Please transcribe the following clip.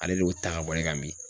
Ale de y'o ta ka bɔ ye kan